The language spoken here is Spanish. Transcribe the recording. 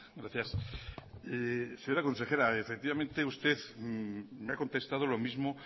gracias señora consejera efectivamente usted me ha contestado lo mismo